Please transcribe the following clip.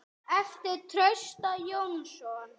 eftir Trausta Jónsson